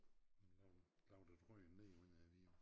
Har nogen lavet et rør ned under æ Vidå